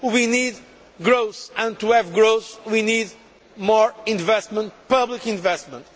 We need growth, and to have growth we need more investment public investment.